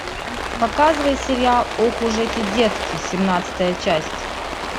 показывай сериал ох уж эти детки семнадцатая часть